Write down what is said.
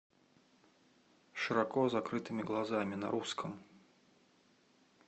с широко закрытыми глазами на русском